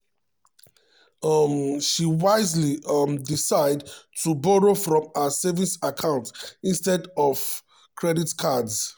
um she wisely um decide to borrow from her own savings account instead um of credit cards.